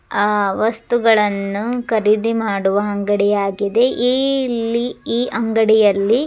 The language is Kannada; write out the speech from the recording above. ಆ ವಸ್ತುಗಳನ್ನು ಖರೀದಿ ಮಾಡುವ ಅಂಗಡಿಯಾಗಿದೆ ಇಲ್ಲಿ ಈ ಅಂಗಡಿಯಲ್ಲಿ --